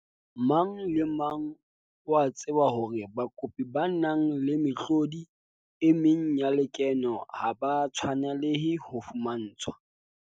Mang le mang o a tseba hore bakopi ba nang le mehlodi e meng ya lekeno ha ba tshwanelehe ho fumantshwa